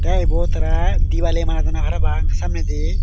te ebot tara dibali manadonde parapang samneindi.